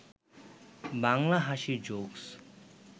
বাংলা হাসির জোকস